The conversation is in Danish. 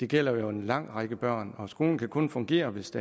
gælder jo en lang række børn og skolen kan kun fungere hvis